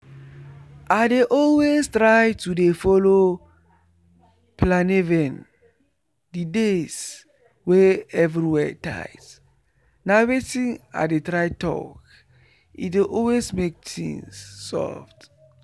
i dey always try to dey follow planeven the days wey everywhere tight na wetin i dey try talk e dey always make things soft